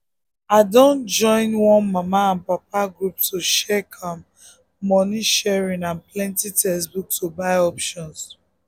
i dun um join um one mama and papa group to check um money sharing and plenty textbook to buy options